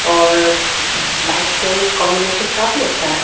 और लाइट्स का भी कॉम्बिनेशन काफी अच्छा है।